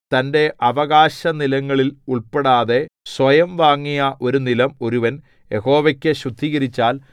തന്റെ അവകാശനിലങ്ങളിൽ ഉൾപ്പെടാതെ സ്വയം വാങ്ങിയ ഒരു നിലം ഒരുവൻ യഹോവയ്ക്കു ശുദ്ധീകരിച്ചാൽ